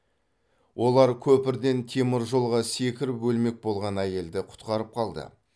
олар көпірден темір жолға секіріп өлмек болған әйелді құтқарып қалды